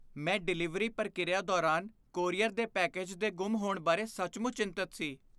ਮੈਂ ਡਿਲੀਵਰੀ ਪ੍ਰਕਿਰਿਆ ਦੌਰਾਨ ਕੋਰੀਅਰ ਦੇ ਪੈਕੇਜ ਦੇ ਗੁੰਮ ਹੋਣ ਬਾਰੇ ਸੱਚਮੁੱਚ ਚਿੰਤਤ ਸੀ।